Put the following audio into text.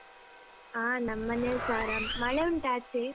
ಹಾ ನಮ್ಮೇಲ್ಸ ಆರಾಮ್ ಮಳೆ ಉಂಟಾ ಆಚೆ?